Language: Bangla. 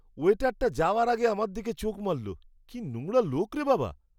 ওয়েটারটা যাওয়ার আগে আমার দিকে চোখ মারল। কি নোংরা লোক রে বাবা!